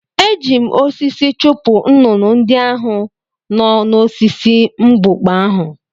Eji m osisi chụpụ nnụnụ ndị ahụ n’osisi mbukpa ahụ.